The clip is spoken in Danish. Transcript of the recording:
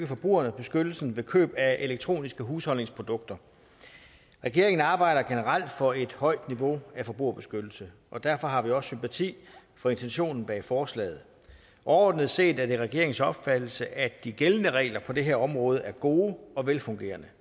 forbrugerbeskyttelsen ved køb af elektroniske husholdningsprodukter regeringen arbejder generelt for et højt niveau af forbrugerbeskyttelse og derfor har vi også sympati for intentionen bag forslaget overordnet set er det regeringens opfattelse at de gældende regler på det her område er gode og velfungerende